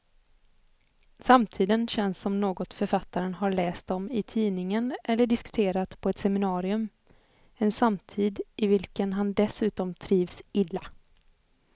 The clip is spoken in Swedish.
Samtiden känns som något författaren har läst om i tidningen eller diskuterat på ett seminarium, en samtid i vilken han dessutom trivs illa.